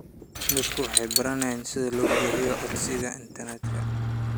Dadku waxay baranayaan sida loo buuxiyo codsiyada internetka.